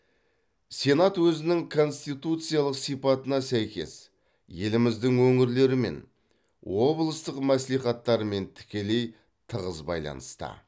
сенат өзінің конституциялық сипатына сәйкес еліміздің өңірлерімен облыстық мәслихаттармен тікелей тығыз байланыста